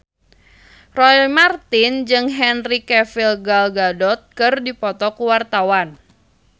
Roy Marten jeung Henry Cavill Gal Gadot keur dipoto ku wartawan